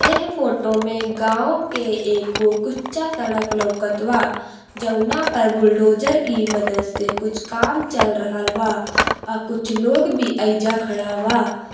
एह फोटो मे गाँव के एगो कुच्चा सड्क लउकत बा जवना पर बुलडोजर कि मदद से कुछ काम चल रहल बा आ कुछ लोग भी एइजा खडा बा।